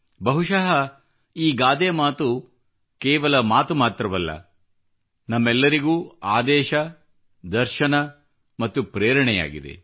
ಬಹುಶಃ ಈ ಗಾದೆ ಕೇವಲ ಮಾತು ಮಾತ್ರವಲ್ಲ ನಮಗೆಲ್ಲರಿಗೂ ಆದೇಶ ದರ್ಶನ ಮತ್ತು ಪ್ರೇರಣೆಯಾಗಿದೆ